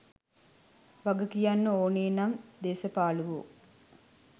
වග කියන්න ඕනේ නම් දේස පාලුවෝ.